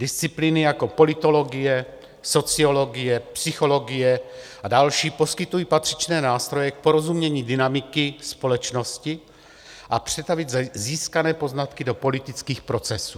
Disciplíny jako politologie, sociologie, psychologie a další poskytují patřičné nástroje k porozumění dynamiky společnosti a přetavit získané poznatky do politických procesů.